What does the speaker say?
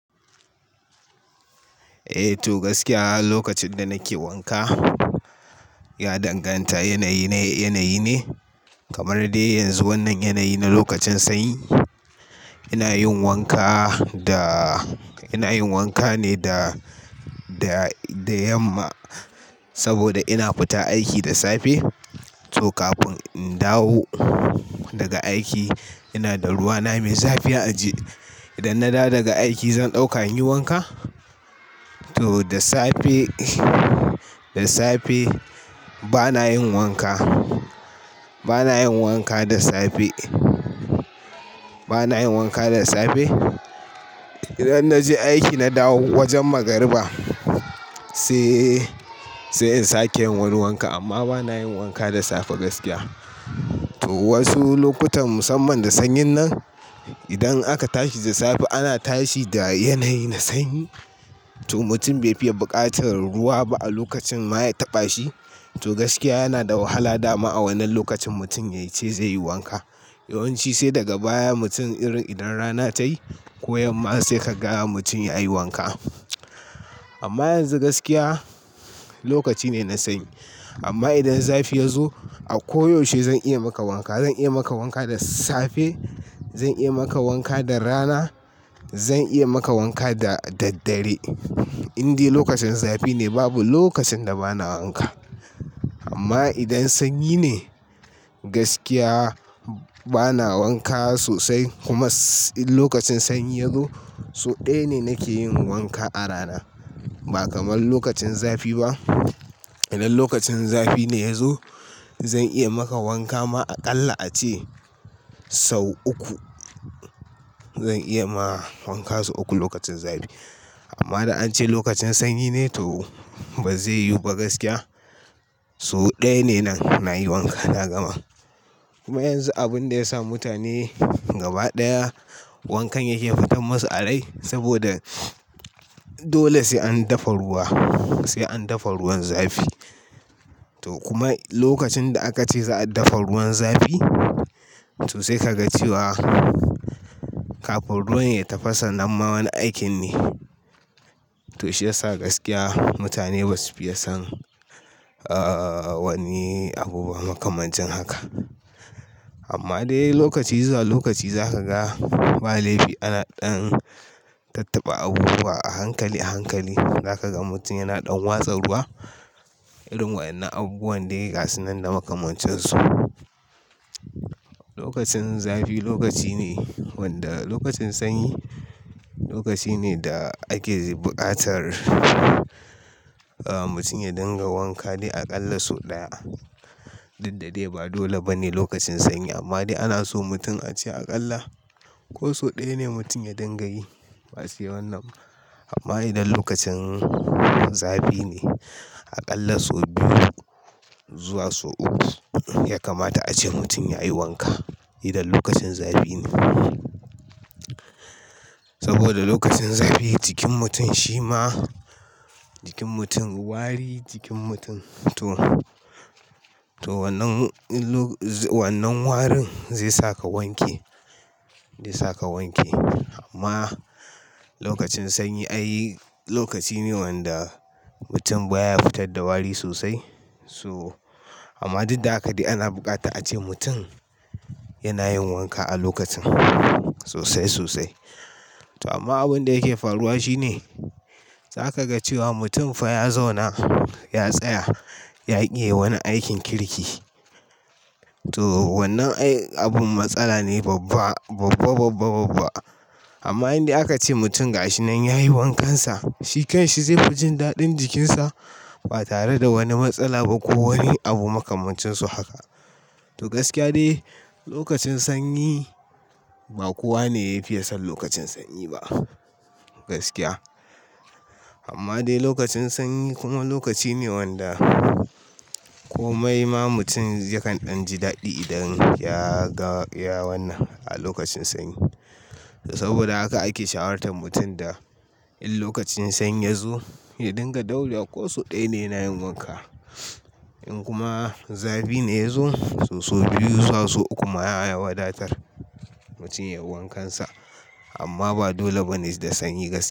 Eh to gaskiya lokacin da nake wanka, ya danganta yanayi na yanayi ne. Kamar dai yanzu wannan yanayi na lokacin sanyi. Ina yin wanka da, ina yin wanka ne da, da, da yamma saboda ina fita aiki da safe. To kafin in dawo daga aiki ina da ruwa na mai zafi a aje. Idan na dawo daga aiki zan ɗauka in yi wanka. To da safe, da safe bana yin wanka. Bana yin wanka da safe. Bana yin wanka da safe. Idan na je aiki na dawo wajen magariba, sai, sai in sake yin wani wankan. Amma bana yin wanka da safe gaskiya. To wasu lokutan musamman da sanyin nan, idan aka tashi da safe ana tashi da yanayi na sanyi. To mutum bai fiye buƙatar ruwa ba a lokacin ma ya taɓa shi. To gaskiya yana da wahala dama a wannan lokacin mutum ya ce zai yi wanka. Yawan ci sai daga baya mutum irin idan rana ta yi ko yamma sai ka ga mutum ya yi wanka. Amma yanzu gaskiya lokaci ne na sanyi. Amma idan zafi ya zo a koyaushe zan iya maka wanka. Zan iya maka wanka da safe, zan iya maka wanka da rana, zan iya maka wanka da daddare. Inde lokacin zafi ne babu lokacin da bana wanka. Amma idan sanyi ne, gaskiya bana wanka sosai. Kuma in lokacin sanyi ya zo, so ɗaya ne nake yin wanka a rana ba kamar lokacin zafi ba. Idan lokacin zafi ne ya zo, zan iya maka wanka ma aƙalla ace sau uku. Zan iya ma wanka sau uku lokacin zafi. Amma da an ce lokacin sanyi ne to ba zai yiwu ba gaskiya. So ɗaya ne nan nayi wanka na gama. Kuma yanzu abin da ya sa mutane gabaɗaya wankan yake fitan masu a rai saboda dole sai an dafa ruwa, sai an dafa ruwan zafi. To kuma lokacin da aka ce za a dafa ruwan zafi to sai ka ga cewa kafin ruwan ya tafasa nan ma wani aikin ne. To shi ya sa gaskiya mutane basu fiye son, ah, wani abu makamancin haka. Amma dai lokaci zuwa lokaci za ka ga ba laifi ana ɗan tattaba abubuwa a hankali a hankali. Za ka ga mutum yana ɗan watsa ruwa, irin waɗannan abubuwan dai gashinan da makamancin su. Lokacin zafi lokaci ne wanda lokacin sanyi lokaci ne da ake buƙatar, ah, mutum ya dinga wanka dai aƙalla so ɗaya. Diddade ba dole ba ne lokacin sanyi amma dai ana so mutum a ce aƙalla ko so ɗaya ne mutum ya dinga yi. Ba sai wannan ba. Amma idan lokacin zafi ne, aƙalla so biyu zuwa so uku ya kamata ace mutum ya yi wanka. Idan lokacin zafi ne. Saboda lokacin zafi jikin mutum shi ma, jikin mutum wari, jikin mutum to, to wannan, wannan warin zai saka wanke. Zai saka wanke. Amma lokacin sanyi ai lokaci ne wanda mutum baya fitar da wari sosai. So amma haka dai ana buƙata a ce mutum yana yin wanka a lokacin sosai sosai. To amma abin da yake faruwa shi ne, za ka ga cewa mutum fa ya zauna, ya tsaya, ya ƙi yi wani aikin kirki. To wannan ai abin matsala ne babba, babba babba babba. Amma inda aka ce mutum gashinan ya yi wankansa, shi kan shi zai fi jin daɗin jikinsa ba tare da wani matsala ba ko wani abu makamancin su haka. To gaskiya dai lokacin sanyi ba kowa ne ya fiye son lokacin sanyi ba gaskiya. Amma dai lokacin sanyi kuma lokaci ne wanda kome ma mutum yakan ɗan ji daɗi idan ya ga, ya wannan a lokacin sanyi. To saboda haka ake shawartar mutum da in lokacin sanyi ya zo, ya dinga dauriya ko so ɗaya ne yana yin wanka. In kuma zafi ne ya zo, to so biyu zuwa so uku ma ya wadatar mutum yayi wankansa. Amma ba dole ba ne da sanyi gaskiya.